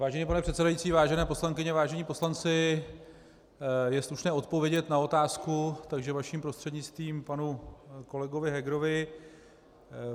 Vážený pane předsedající, vážené poslankyně, vážení poslanci, je slušné odpovědět na otázku, takže vaším prostřednictvím panu kolegovi Hegerovi.